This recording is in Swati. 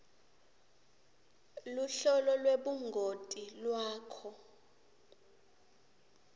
luhlolo lwebungoti lwakho